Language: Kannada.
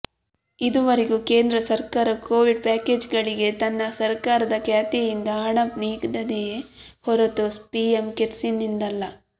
ಇದುವರೆಗೂ ಕೇಂದ್ರ ಸರ್ಕಾರ ಕೊವಿಡ್ ಪ್ಯಾಕೇಜ್ಗಳಿಗೆ ತನ್ನ ಸರ್ಕಾರದ ಖಾತೆಯಿಂದ ಹಣ ನೀಡಿದೆಯೇ ಹೊರತು ಪಿಎಂ ಕೇರ್ಸ್ನಿಂದಲ್ಲ